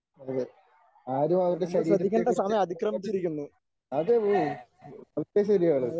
അതെ ആരും അവരുടെ ശരീരത്തെ കുറിച്ച് യാതൊരു അതേ ഒക്കെ ശരിയാണ്.